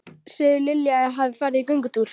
Segðu Lilju að ég hafi farið í göngutúr.